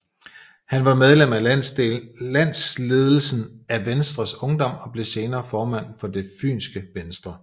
Han var medlem af landsledelsen af Venstres Ungdom og blev senere formand for Det fynske Venstre